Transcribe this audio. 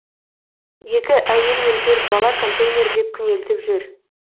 екі әйел мен төрт бала контейнерде күнелтіп жүр